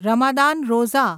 Ramadan Roza